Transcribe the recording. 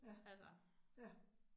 Ja, ja